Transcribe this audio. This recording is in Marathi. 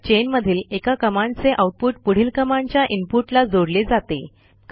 पाईप चेन मधील एका कमांडचे आऊटपुट पुढील कमांडच्या इनपुटला जोडले जाते